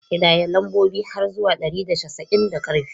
Ƙidaya lambobi har zuwa ɗari da casa'in da ƙarfi!